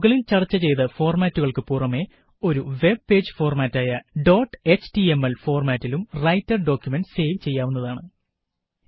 മുകളില് ചര്ച്ച ചെയ്ത ഫോര്മാറ്റുകള്ക്ക് പുറമെ ഒരു വെബ് പേജ് ഫോര്മാറ്റായ ഡോട്ട് എച്ടിഎംഎൽ ഫോര്മാറ്റിലും റൈറ്റര് ഡോക്കുമന്റ്സ് സേവ് ചെയ്യാവുന്നതാണ്